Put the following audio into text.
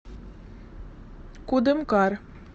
кудымкар